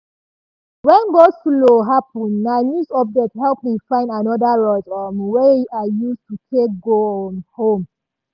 wen go-slow happen na news update help me find anoda road um wey i use take go um house.